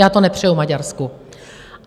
Já to nepřeju Maďarsku.